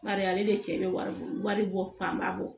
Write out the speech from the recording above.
Bari ale de cɛ bɛ wari bɔ wari bɔ fanba bɔ